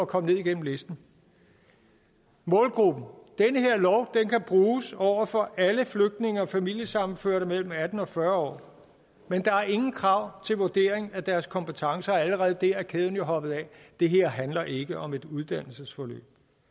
komme ned igennem listen målgruppen den her lov kan bruges over for alle flygtninge og familiesammenførte mellem atten og fyrre år men der er ingen krav til vurdering af deres kompetencer og allerede der er kæden jo hoppet af det her handler ikke om et uddannelsesforløb